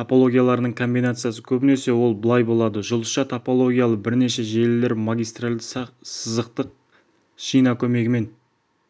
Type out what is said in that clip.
топологияларының комбинациясы көбінесе ол былай болады жұлдызша топологиялы бірнеше желілер магистралды сызықтық шина көмегімен